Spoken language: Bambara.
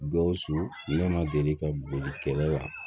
Gawusu ne ma deli ka boli kɛlɛ la